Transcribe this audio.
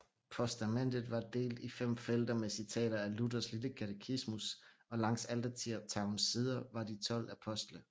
Postamentet var delt i fem felter med citater af Luthers lille katetismus og langs altertavlens sider var de 12 apostle